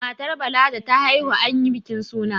matar Bala da ta haihu an yi bikin suna